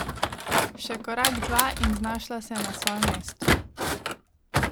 Še korak dva in znašla se je na svojem mestu.